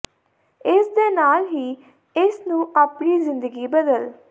ਇਸ ਦੇ ਨਾਲ ਹੀ ਇਸ ਨੂੰ ਆਪਣੀ ਜ਼ਿੰਦਗੀ ਬਦਲ